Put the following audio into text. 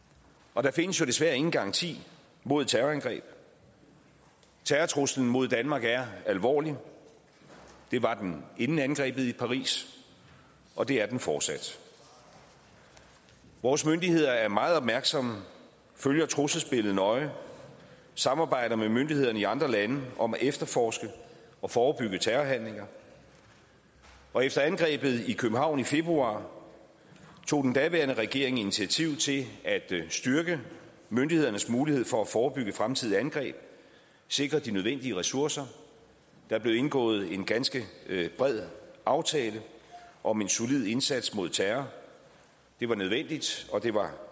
og der findes jo desværre ingen garanti mod terrorangreb terrortruslen mod danmark er alvorlig det var den inden angrebet i paris og det er den fortsat vores myndigheder er meget opmærksomme og følger trusselsbilledet nøje samarbejder med myndighederne i andre lande om at efterforske og forebygge terrorhandlinger og efter angrebet i københavn i februar tog den daværende regering initiativ til at styrke myndighedernes muligheder for at forebygge fremtidige angreb at sikre de nødvendige ressourcer der blev indgået en ganske bred aftale om en solid indsats mod terror det var nødvendigt og det var